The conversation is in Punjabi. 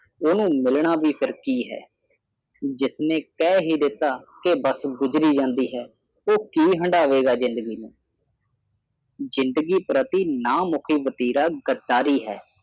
ਉਹਨੂੰ ਮਿਲਣਾ ਵੀ ਫੀਰ ਕੀ ਹੈ ਜਿਸ ਨੇ ਕਹਿ ਹੀ ਦਿੱਤਾ ਕੇ ਬੱਸ ਗੁਜ਼ਰੀ ਜਾਂਦੀ ਹੈ ਉਹ ਕਿ ਹੰਡਾਵੇ ਗਾ ਜ਼ਿੰਦਗੀ ਨੂੰ ਜ਼ਿੰਦਗੀ ਪ੍ਰਤੀ ਨਾ ਮੁਖੀ ਵਤੀਰਾ ਗੰਧਾਰੀ ਹੈ